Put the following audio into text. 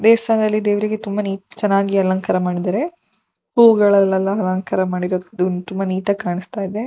ದೇವಸ್ಥಾನದಲ್ಲಿ ದೇವ್ರಿಗೆ ತುಂಬ ನೀ ಚೆನ್ನಾಗಿ ಅಲಂಕಾರ ಮಾಡಿದಾರೆ. ಹೂಗಳಲ್ಲೆಲ್ಲ ಅಲಂಕಾರ ಮಾಡಿರೋದ್ ತುಂಬ ನೀಟಾಗಿ ಕಾಣಿಸ್ತಾ ಇದೆ.